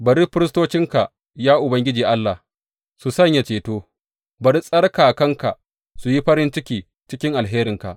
Bari firistocinka, ya Ubangiji Allah, su sanye ceto, bari tsarkakanka su yi farin ciki cikin alherinka.